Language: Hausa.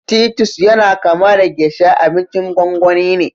Titus yana kama da geisha, abincin gwangwani ne